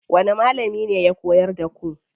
Wani malami ne ya koyar da ku?